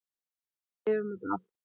Við lifum þetta af.